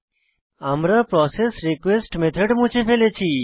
আমরা process request method মুছে ফেলেছি